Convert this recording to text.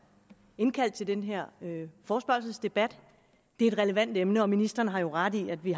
indkaldt til den her forespørgselsdebat det er et relevant emne og ministeren har jo ret i at vi